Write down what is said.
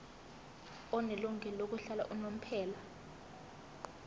onelungelo lokuhlala unomphela